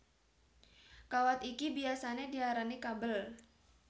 Kawat iki biyasané diarani kabel